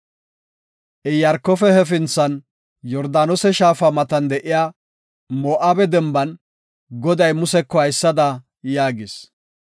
Iyaarkofe hefinthan, Yordaanose shaafa matan de7iya Moo7abe denban, Goday Museko haysada yaagis;